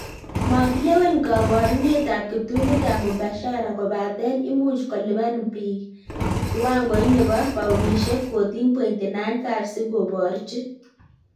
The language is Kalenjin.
Magilewen koborunetab kiptulitab mubashara kobaten imuch kolipan biik kiwangoit nebo paunishek 14.95 si kiborchi